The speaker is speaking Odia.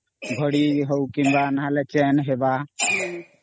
ଘଡି ହଉ କିମ୍ୱାnନହେଲେ Chain ହେବା